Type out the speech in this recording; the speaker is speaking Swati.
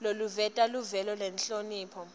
loluveta luvelo nenhlonipho